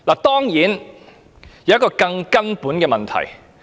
當然，還有一個更根本的問題。